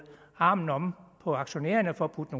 armen om på aktionærerne for at putte